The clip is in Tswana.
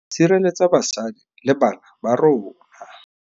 Sireletsa basadi le bana ba rona.